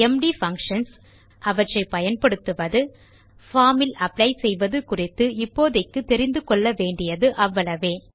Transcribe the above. empty functions அவற்றை பயன்படுத்துவது forms இல் அப்ளை செய்வது குறித்து இப்போதைக்கு தெரிந்து கொள்ள வேண்டியது அவ்வளவே